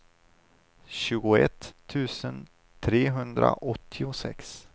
tjugoett tusen trehundraåttiosex